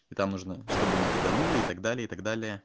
там нужно чтобы не киданули и так далее и так далее